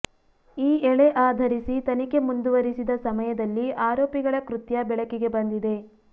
ಈ ಎಳೆ ಆಧರಿಸಿ ತನಿಖೆ ಮುಂದುವರಿಸಿದ ಸಮಯದಲ್ಲಿ ಆರೋಪಿಗಳ ಕೃತ್ಯ ಬೆಳಕಿಗೆ ಬಂದಿದೆ